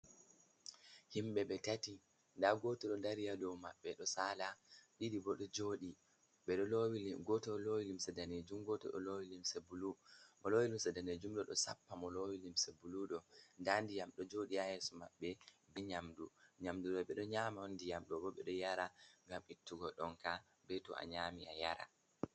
Himɓe ɓe tati, nda goto ɗo dari ha dow maɓɓe ɗo saala, ɗiɗi bo ɗo jooɗi, gotoo ɗo lowi limse daneejum ɗo sappa mo lowi limse bulu ɗo. Nda ndiyam ɗo jooɗi ha yeeso maɓɓe be nyamdu, nyamdu ɗo ɓe ɗo nyama on, ndiyam ɗo bo ɓe ɗo yara ngam ittugo ɗonka be to a nyami a yara.